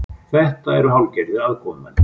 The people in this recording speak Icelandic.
Þetta eru hálfgerðir aðkomumenn